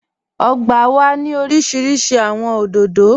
Ọ̀gbà wà ni orísíríṣí awọn odòdó.